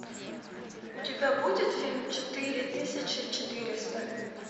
у тебя будет фильм четыре тысячи четыреста